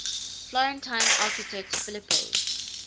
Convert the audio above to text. florentine architect filippo